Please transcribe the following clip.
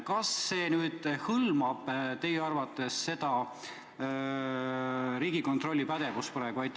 Kas see hõlmab teie arvates praegu Riigikontrolli pädevust?